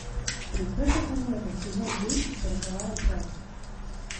принцесса комета сезон десять сороковая часть